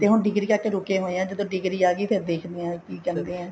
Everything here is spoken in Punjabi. ਹੁਣ ਡਿਗਰੀ ਕਰਕੇ ਰੁਕੇ ਹੋਏ ਹਾਂ ਜਦੋਂ ਡਿਗਰੀ ਆਗੀ ਫ਼ੇਰ ਦੇਖਦੇ ਹਾਂ ਕੀ ਕਹਿੰਦੇ ਆ